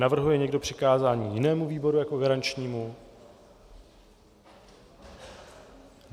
Navrhuje někdo přikázání jinému výboru jako garančnímu?